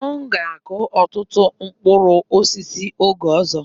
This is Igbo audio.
M ga akụ ọtụtụ mkpụrụ osisi oge ọzọ.